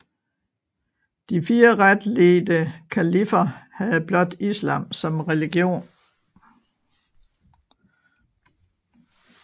De fire retledte kaliffer havde blot islam som religion